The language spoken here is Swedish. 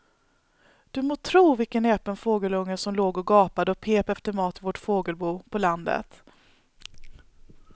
Du må tro vilken näpen fågelunge som låg och gapade och pep efter mat i vårt fågelbo på landet.